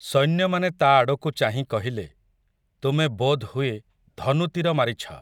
ସୈନ୍ୟମାନେ ତା' ଆଡ଼କୁ ଚାହିଁ କହିଲେ, ତୁମେ ବୋଧ୍ ହୁଏ ଧନୁତୀର ମାରିଛ ।